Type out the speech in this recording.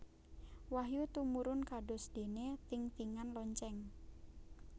Wahyu tumurun kados déné thing thingan lonceng